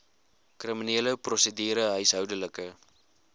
kriminele prosedure huishoudelike